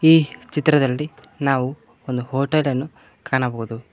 ಈ ಚಿತ್ರದಲ್ಲಿ ನಾವು ಒಂದು ಹೋಟೆಲನ್ನು ಕಾಣಬಹುದು.